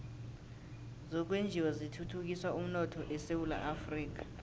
zokwenjiwa zithuthukisa umnotho esewula afrika